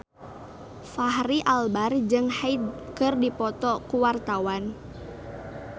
Fachri Albar jeung Hyde keur dipoto ku wartawan